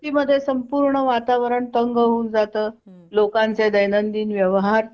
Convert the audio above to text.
वस्ती मध्ये संपूर्ण वातावरण तंग हून जात लोकांचे दैनंदिन व्यवहार ठप्प